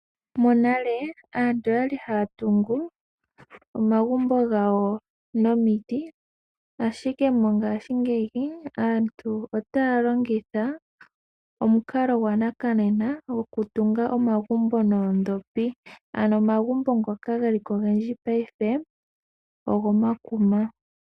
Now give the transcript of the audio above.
Monale aantu oya li haya tungu omagumbo gawo nomiti ashike mongaashingeyi aantu otaya longitha omukalo gwopaife gwokutunga omagumbo noondhopi ano omagumbo ngoka geli ko ogendji paife ogomakuma.